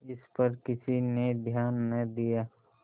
इस पर किसी ने ध्यान न दिया